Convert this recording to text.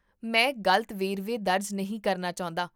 ਮੈਂ ਗਲਤ ਵੇਰਵੇ ਦਰਜ ਨਹੀਂ ਕਰਨਾ ਚਾਹੁੰਦਾ